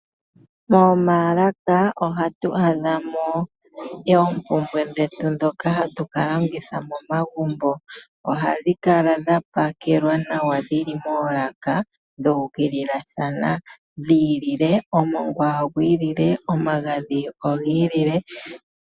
Moomaalaka ohatu adha mo oompumbwe dhetu dhoka hatu longitha momagumbo. Ohadhi kala dha pakelwa nawa dhili moolaka, dhuukililathana dhi ilile, omongwa ogwi ilile, nomagadhi ogi ilile.